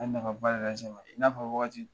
A nafaba de lasz n ma i n'a fɔ wagati